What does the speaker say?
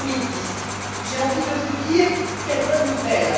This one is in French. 2010. J'ai envie de vous dire Quelle bonne nouvelle!.